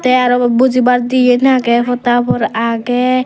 te aaro buji bar diyen aagey podha habor aagey.